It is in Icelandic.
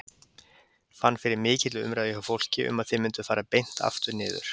Fannstu fyrir mikilli umræðu hjá fólki um að þið mynduð fara beint aftur niður?